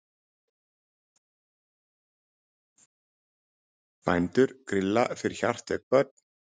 Bændur grilla fyrir hjartveik börn